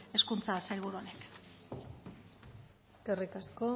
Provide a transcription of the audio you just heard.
hezkuntza sailburu honek eskerrik asko